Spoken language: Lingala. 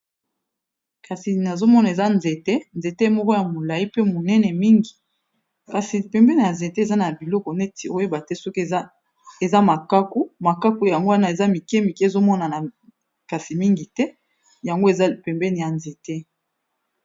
Kasi nazomona eza nzete, nzete moko ya molayi pe monene mingi kasi pembeni ya nzete eza na biloko neti oyeba te soki eza makaku makaku yango wana eza mike mike ezomona na kasi mingi te yango eza pembeni ya nzete.